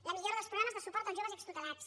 la millora dels programes de suport als joves extutelats